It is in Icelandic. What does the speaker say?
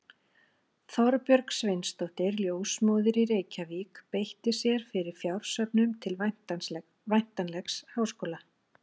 Þorbjörg Sveinsdóttir, ljósmóðir í Reykjavík, beitti sér fyrir fjársöfnun til væntanlegs háskóla.